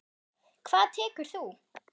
Hvað tekur þú?